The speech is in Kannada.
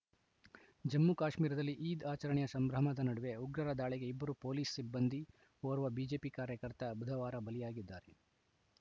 ಜಮ್ಮುಕಾಶ್ಮೀರದಲ್ಲಿ ಈದ್‌ ಆಚರಣೆಯ ಸಂಭ್ರಮದ ನಡುವೆ ಉಗ್ರರ ದಾಳಿಗೆ ಇಬ್ಬರು ಪೊಲೀಸ್‌ ಸಿಬ್ಬಂದಿ ಓರ್ವ ಬಿಜೆಪಿ ಕಾರ್ಯಕರ್ತ ಬುಧವಾರ ಬಲಿಯಾಗಿದ್ದಾರೆ